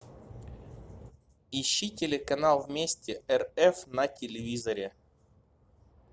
ищи телеканал вместе рф на телевизоре